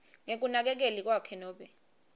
ngekunakekeli kwakhe nobe